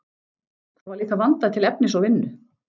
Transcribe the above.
Það var líka vandað til efnis og vinnu.